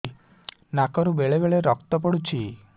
ନାକରୁ ବେଳେ ବେଳେ ରକ୍ତ ପଡୁଛି